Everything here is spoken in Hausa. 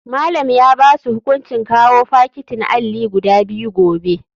Malam ya basu hukuncin kawao fakitin alli guda biyu gobe.